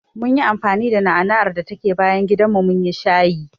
Munyi anfani da na'ana'ar da take bayan gidanmu munyi shayi.